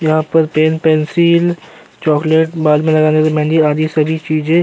यहाँ पर pen pencil chocolate बाल में लगाने वाली मेंहदी आदि सभी चीजें --